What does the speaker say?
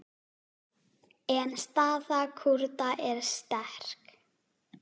En staða Kúrda er sterk.